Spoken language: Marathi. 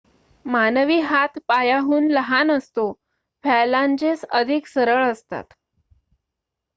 मानवी हात पायाहून लहान असतो फॅलांजेस अधिक सरळ असतात